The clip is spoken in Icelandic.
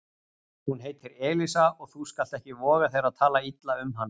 Hún heitir Elísa og þú skalt ekki voga þér að tala illa um hana